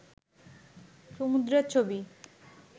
সমুদ্রের ছবি